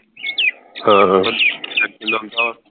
ਹਾਂ